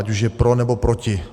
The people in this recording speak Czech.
Ať už je pro, nebo proti.